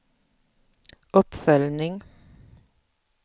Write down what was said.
uppföljning